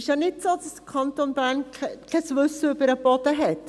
Es ist nicht so, dass der Kanton Bern kein Wissen über den Boden hat.